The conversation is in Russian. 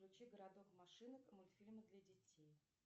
включи городок машинок мультфильмы для детей